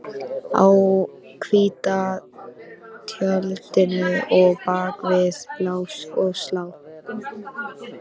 Á hvíta tjaldinu og bak við lás og slá